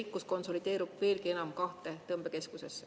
Rikkus konsolideerub veelgi enam kahte tõmbekeskusesse.